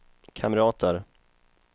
kamrater